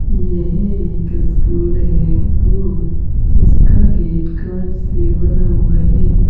यह एक स्कूल है वो इसका गेट कांच से बना हुआ है।